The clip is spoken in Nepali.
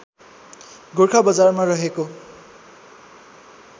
गोरखा बजारमा रहेको